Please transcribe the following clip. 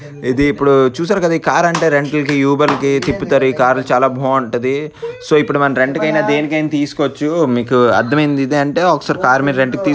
ఇది ఇప్పుడు చుసారు కద కార్ అంటే రెంటల్ కి యూబర్ల కి తిప్పుతారు ఈ కార్లు చాల బాగుంటది. సో ఇప్పుడు మనం రెంట్కి అయిన దేనికి అయినా తిస్కోచు మీకు అర్ధమయింది. అంటే ఒకసారి మీరు కార్ రెంట్ కి తీ --